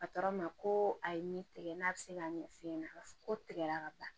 ma ko a ye ne tigɛ n'a bɛ se ka ɲɛf'e ɲɛna ko tigɛra ka ban